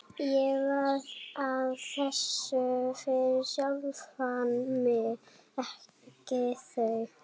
Ég var að þessu fyrir sjálfan mig, ekki þau.